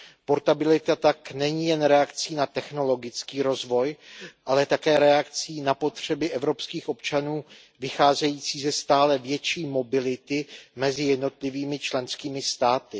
Portabilita tak není jen reakcí na technologický rozvoj, ale také reakcí na potřeby evropských občanů vycházející ze stále větší mobility mezi jednotlivými členskými státy.